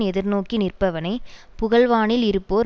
எதிர்நோக்கி நிற்பவனை புகழ்வானில் இருப்போர்